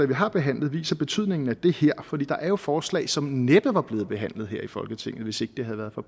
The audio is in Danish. vi har behandlet viser betydningen af det her for der er jo forslag som næppe var blevet behandlet her i folketinget hvis ikke det havde været for